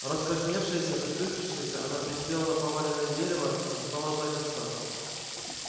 раскрасневшаяся запыхавшаяся она присела на поваленное дерево и стала ждать отца